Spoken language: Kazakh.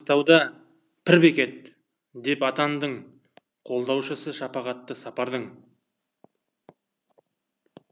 маңғыстауда пір бекет деп атандың қолдаушысы шапағатты сапардың